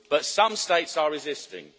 But some states are resisting.